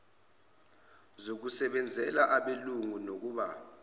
zokusebenzela abelungu nokumba